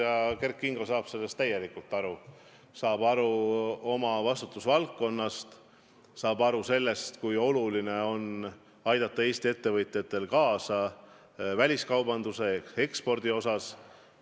Ja Kert Kingo saab sellest täielikult aru, saab aru oma vastutusvaldkonnast, saab aru sellest, kui oluline on aidata Eesti ettevõtjatel väliskaubandust ehk eksporti arendada.